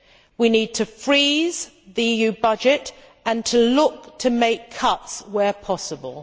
We need to freeze the EU budget and to look to make cuts where possible.